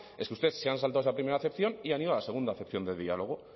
es que ustedes se han saltado esa primera acepción y han ido a la segunda acepción de diálogo